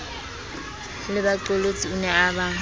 lebaqolotsi o ne a ba